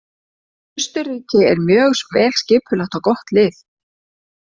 Austurríki er mjög vel skipulagt og gott lið.